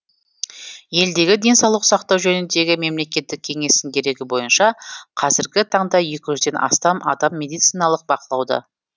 елдегі денсаулық сақтау жөніндегі мемлекеттік кеңестің дерегі бойынша қазіргі таңда екі жүзден астам адам медициналық бақылауда